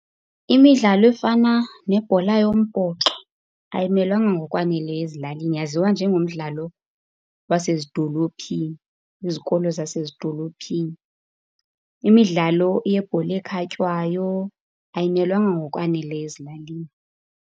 Imidlalo efana nebhola yombhoxo ayimelwanga ngokwaneleyo ezilalini. Yaziwa njengomdlalo wasezidolophini, kwizikolo zasezidolophini. Imidlalo yebhola ekhatywayo ayimelwanga ngokwaneleyo ezilalini.